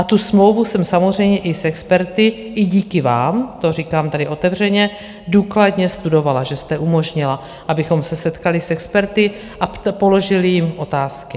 A tu smlouvu jsem samozřejmě i s experty, i díky vám, to říkám tady otevřeně, důkladně studovala, že jste umožnila, abychom se setkali s experty a položili jim otázky.